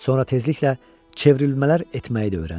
Sonra tezliklə çevrilmələr etməyi də öyrəndi.